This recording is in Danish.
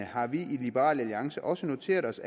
har vi i liberal alliance også noteret os